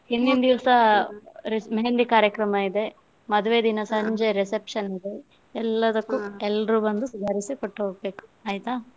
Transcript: ಹಿಂದಿನ ದಿವ್ಸ मेहंदी ಕಾರ್ಯಕ್ರಮ ಇದೆ, ಮದುವೆ ದಿನ ಸಂಜೆ reception ಇದೆ, ಎಲ್ಲರು ಬಂದು ಸುಧಾರಿಸಿಕೊಟ್ಟು ಹೋಗ್ಬೇಕು ಆಯ್ತಾ?